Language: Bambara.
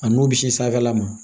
A n'u bɛ si sanfɛla ma